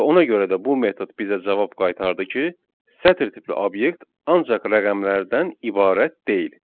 Və ona görə də bu metod bizə cavab qaytardı ki, sətir tipli obyekt ancaq rəqəmlərdən ibarət deyil.